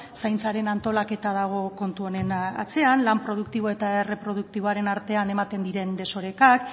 zaintzaren antolaketa dago kontu honen atzean lan produktibo eta erreproduktiboaren artean ematen diren desorekak